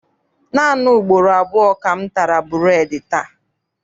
Naanị ugboro abụọ ka m tara bureedi taa.